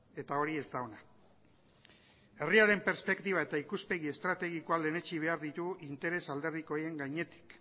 eta hori ez da ona herriaren perspektiba eta ikuspegi estrategikoa lehenetsi behar ditugu interes alderdikoien gainetik